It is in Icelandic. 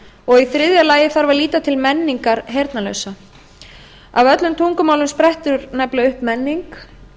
og í þriðja lagi þarf að líta til menningar heyrnarlausra af öllum tungumálum sprettur nefnilega upp menning